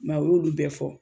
I m'a ye u y'olu bɛɛ fɔ